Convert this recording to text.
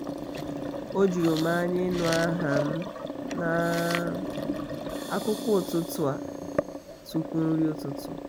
o juru m anya ịnụ aha m na um akụkọ ụtụtụ a um tụpu nri ụtụtụ